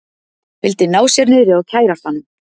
Vildi ná sér niðri á kærastanum